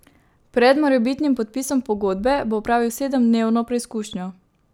Pred morebitnim podpisom pogodbe bo opravil sedemdnevno preizkušnjo.